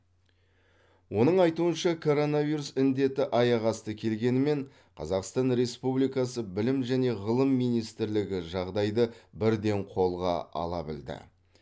оның айтуынша коронавирус індеті аяқ асты келгенімен қазақстан республикасы білім және ғылым министрлігі жағдайды бірден қолға ала білді